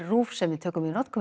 RÚV sem við tökum í notkun